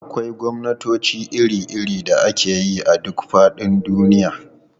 Akwai gwamnatoci iri-iri da ake yi a duk faɗin duniya.